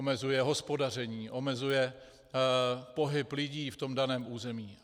Omezuje hospodaření, omezuje pohyb lidí v tom daném území.